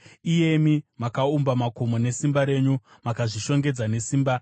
iyemi makaumba makomo nesimba renyu, makazvishongedza nesimba,